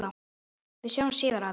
Við sjáumst síðar, afi.